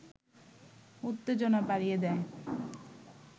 উত্তেজনা বাড়িয়ে দেয়